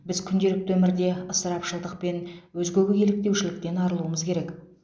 біз күнделікті өмірде ысырапшылдық пен өзгеге еліктеушіліктен арылуымыз керек